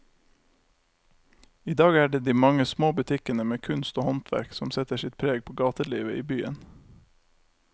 I dag er det de mange små butikkene med kunst og håndverk som setter sitt preg på gatelivet i byen.